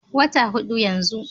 Wata hudu yanzu.